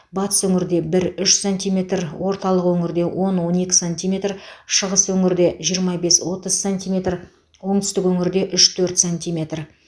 батыс өңірде бір үш сантиметр орталық өңірде он он екі сантиметр шығыс өңірде жиырма бес отыз сантиметр оңтүстік өңірде үш төрт сантиметр